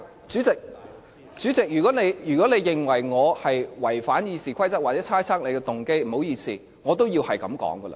主席，如果你認為我違反《議事規則》或猜測你的動機，不好意思，我也要這樣說。